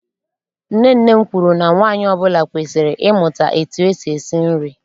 Nne nne m kwuru na nwaanyị ọbụla kwesiri ịmụta etu esi esi nri.